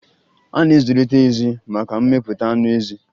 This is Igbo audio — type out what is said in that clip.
A na-azụlite ezì maka mmepụta anụ ezi.